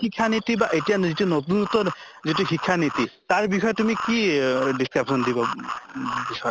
শিক্ষা নীতি বা এতিয়া যিটো নতুনত্ব যিটো শিক্ষা নীতি তাৰ বিষয়ে তুমি কি অহ discussion দিব উম বিচৰা?